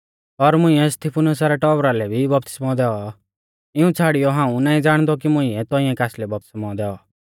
और मुंइऐ स्तिफनुसा रै टौबरा लै भी बपतिस्मौ दैऔ इऊं छ़ाड़ियौ हाऊं नाईं ज़ाणदौ कि मुंइऐ तौंइऐ कासलै बपतिस्मौ दैऔ